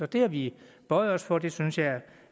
det har vi bøjet os for og det synes jeg